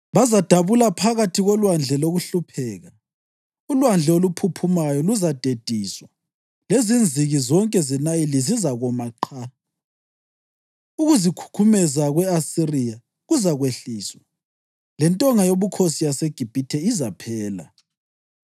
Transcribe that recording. Bazadabula phakathi kolwandle lokuhlupheka; ulwandle oluphuphumayo luzadediswa lezinziki zonke zeNayili zizakoma qha. Ukuzikhukhumeza kwe-Asiriya kuzakwehliswa lentonga yobukhosi yaseGibhithe izaphela.